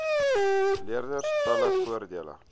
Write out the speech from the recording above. leerders talle voordele